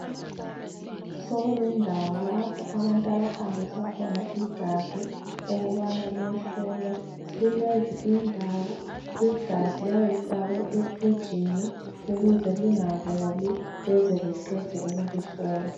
Sokulendawo lapho abantu abahambisa khona igazi ukubana liyehlolwa kulezi indawo igazi liyabe lifakwe e frijini ukuze lingaboli beze beqede ukulihlola.